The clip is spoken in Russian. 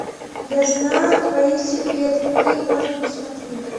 я знаю твои секреты какие можно посмотреть